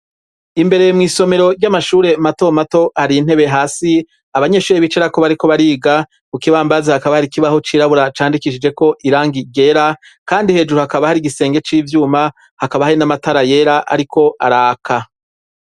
Imbere mw'isomero ry'amashure mato mato hari intebe hasi abanyeshuri bicarako bariko bariga, ku kibambazi hakaba hari ikibaho cirabura candikishije ko irangi ryera kandi hejuru hakaba hari igisenge c'ivyuma hakaba hari n'amatara yera ariko araka.